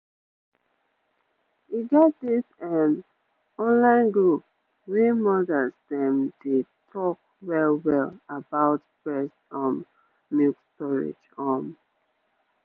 e get this ehm online group wey mothers dem dey talk well-well about breast um milk storage um